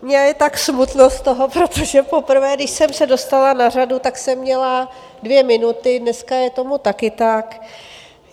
Mně je tak smutno z toho, protože poprvé, když jsem se dostala na řadu, tak jsem měla dvě minuty, dneska je tomu taky tak.